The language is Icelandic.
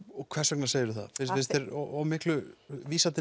hvers vegna segirðu það finnst þér of miklu vísað